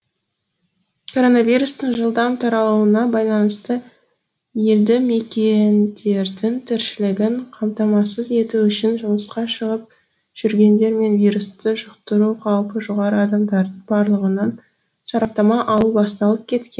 коронавирустың жылдам таралуына байланысты елді мекендердің тіршілігін қамтамасыз ету үшін жұмысқа шығып жүргендер мен вирусты жұқтыру қаупі жоғары адамдардың барлығынан сараптама алу басталып кеткен